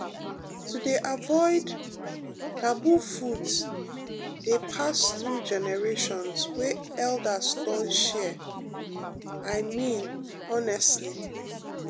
to dey avoid um taboo foods dey pass through generations wey elders don share i mean honestly.